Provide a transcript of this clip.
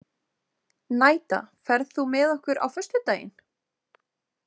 Nadja, ferð þú með okkur á föstudaginn?